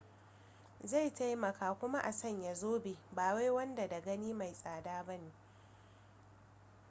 zai taimaka kuma a sanya zobe bawai wanda da gani mai tsada ne ba